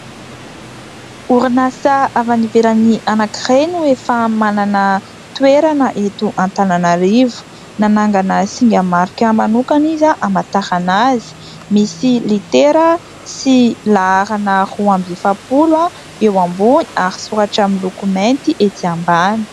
Orinasa avy any ivelany anankiray no efa manana toerana eto Antananarivo. Nanangana singa marika manokana izay hamatarana azy misy litera sy laharana roa amby efapolo eo ambony ary soratra miloko mainty ety ambany.